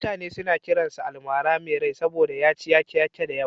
Mutane suna kiransa almara mai rai saboda ya ci yaƙe-yaƙe da yawa.